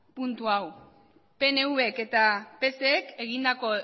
puntu hau pnvk eta psek egindako